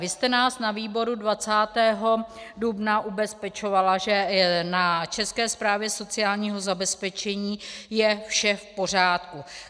Vy jste nás na výboru 20. dubna ubezpečovala, že na České správě sociálního zabezpečení je vše v pořádku.